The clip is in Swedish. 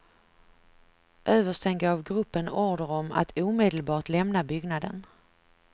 Översten gav gruppen order om, att omedelbart lämna byggnaden.